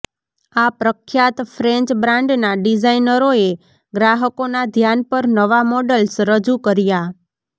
આ પ્રખ્યાત ફ્રેન્ચ બ્રાન્ડના ડિઝાઇનરોએ ગ્રાહકોના ધ્યાન પર નવા મોડલ્સ રજૂ કર્યા